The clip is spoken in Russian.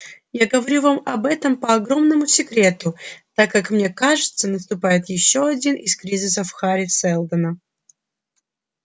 я говорю вам об этом по огромному секрету так как мне кажется наступает ещё один из кризисов хари сэлдона